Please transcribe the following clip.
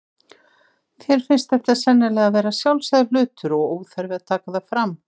Þér finnst þetta sennilega vera sjálfsagður hlutur og óþarfi að taka það fram.